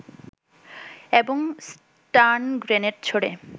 এবং stun grenade ছোঁড়ে